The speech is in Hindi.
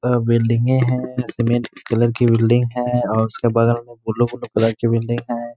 अ बिल्डिंगे हैं। सीमेंट कलर कि बिल्डिंग है और उसके बगल में कलर कि बिल्डिंग है।